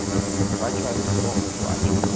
kwatsha zinkomo kwatsha